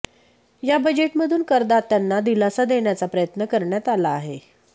या बजेटमधून करदात्यांना दिलासा देण्याचा प्रयत्न करण्यात आला आहे